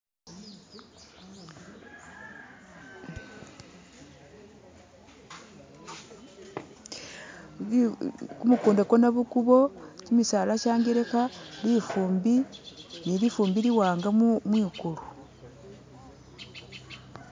Kumukunda kwo nabukubo, kimisala sha'ngelekha likhumbi ni lifumbi liwanga mwi'kulu.